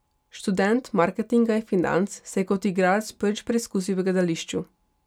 Študent marketinga in financ se je kot igralec prvič preizkusil v gledališču.